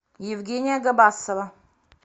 евгения габасова